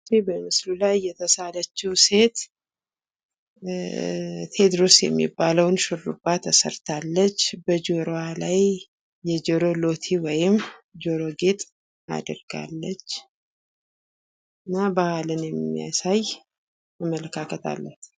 ይች በምስሉ ላይ የተሳለችው ሴት ቴዎድሮስ የሚባለውን ሹርባ ተሰርታለች። በጆሮዋ ላይ የጆሮ ሎቲ ወይም ጆሮ ጌጥ አድርጋለች። እና ባህልን የሚያሳይ አመለካከት አላት።